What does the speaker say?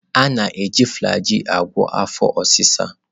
Ana-e ji flajil a gwo afọ osi sa.